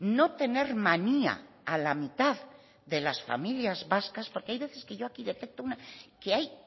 no tener manía a la mitad de las familias vascas porque hay veces que yo aquí detecto que hay